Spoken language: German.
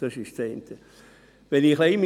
Das ist das eine.